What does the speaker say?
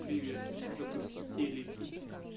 привет запусти телегид